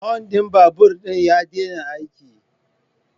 Hun din babur din ya daina aiki